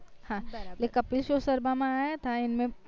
હા એટલે કપિલ show શર્મા માં આયા હતા એમ